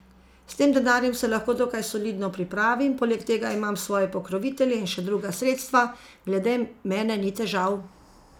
S tem denarjem se lahko dokaj solidno pripravim, poleg tega imam svoje pokrovitelje in še druga sredstva, glede mene ni težav.